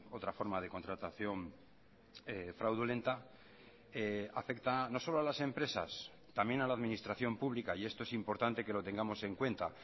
otra forma de contratación fraudulenta afectan no solo a las empresas también a la administración pública y esto es importante que lo tengamos en cuenta